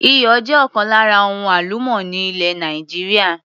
Iyọ̀ jẹ́ ọ̀kan lára ohun àlùmọ́nì ilẹ̀ Nàìjíríà.